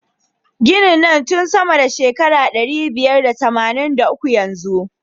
Ginin na nan tun sama da shekaru ɗari biyar da tamanin da uku yanzu.